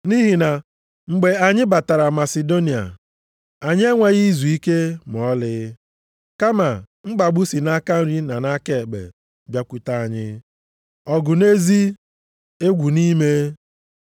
Nʼihi na mgbe anyị batara Masidonia, anyị enweghị izuike ma ọlị. Kama mkpagbu si nʼaka nri na aka ekpe bịakwute anyị, ọgụ nʼezi, egwu nʼime.